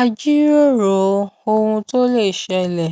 a jíròrò ohun tó lè ṣẹlẹ